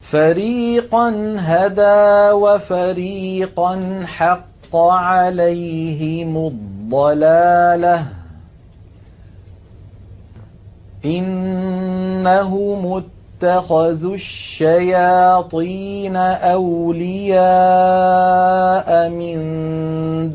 فَرِيقًا هَدَىٰ وَفَرِيقًا حَقَّ عَلَيْهِمُ الضَّلَالَةُ ۗ إِنَّهُمُ اتَّخَذُوا الشَّيَاطِينَ أَوْلِيَاءَ مِن